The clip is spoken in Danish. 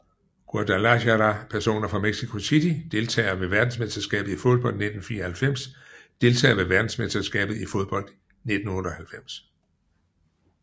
Guadalajara Personer fra Mexico City Deltagere ved verdensmesterskabet i fodbold 1994 Deltagere ved verdensmesterskabet i fodbold 1998